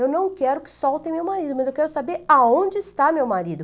Eu não quero que soltem meu marido, mas eu quero saber aonde está meu marido.